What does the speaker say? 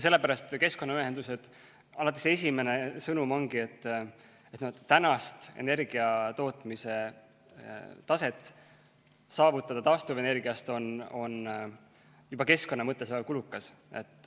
Sellepärast ongi keskkonnaühenduste esimene sõnum alati see: praeguse energiatootmise taseme saavutamine taastuvenergia abil on juba keskkonna mõttes väga kulukas.